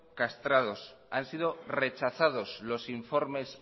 castrados han sido rechazados los informes